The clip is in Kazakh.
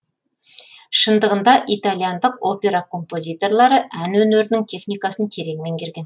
шындығында итальяндық опера композиторлары ән өнерінің техникасын терең меңгерген